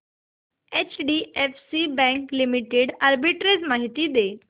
HDFC bank limited arbitrage माहिती दे